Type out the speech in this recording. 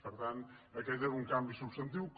per tant aquest era un canvi subs·tantiu